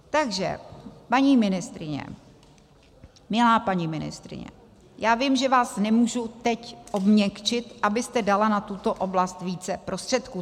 Takže paní ministryně, milá paní ministryně, já vím, že vás nemůžu teď obměkčit, abyste dala na tuto oblast více prostředků.